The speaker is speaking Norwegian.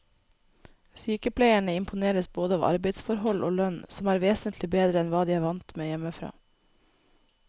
Sykepleierne imponeres både av arbeidsforhold og lønn, som er vesentlig bedre enn hva de er vant med hjemmefra.